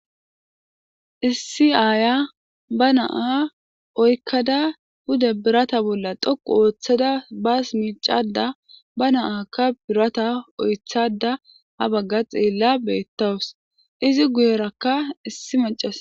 issi aaya ba naa oykkada huda birata bolla toqu ooththada baas miicada ba naaka birata oythada ha bagga xeella beettawus izi guyerakka issi macas